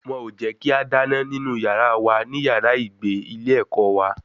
Wọn ò jẹ́ kí a dáná nínú yàrá wa ní yàrá ìgbé ilé ẹ̀kọ́ wa